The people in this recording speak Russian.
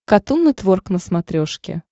катун нетворк на смотрешке